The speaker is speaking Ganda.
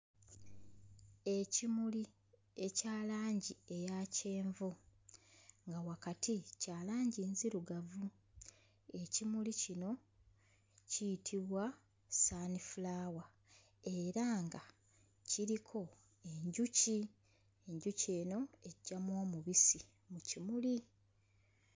Ekimuli ekya langi eya kyenvu nga wakati kya langi nzirugavu. Ekimuli kino kiyitibwa sunflower era nga kiriko enjuki enjuki eno eggyamu omubisi mu kimuli.